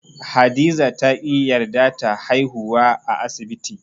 Hadiza ta ƙi yarda ta haihuwa a asibti.